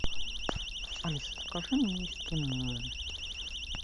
алиса закажи мне эскимо